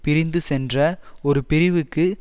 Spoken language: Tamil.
பிரிந்து சென்ற ஒரு பிரிவுக்கு